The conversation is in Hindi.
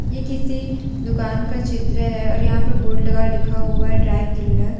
ये किसी दुकान का चित्र है और यहां पर बोर्ड लगा लिखा हुआ है ड्राइ क्लीनर ।